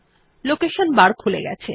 location bar খুলে গেছে